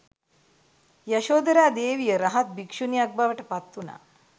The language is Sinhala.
යශෝදරා දේවිය රහත් භික්ෂුණියක් බවට පත්වුනා.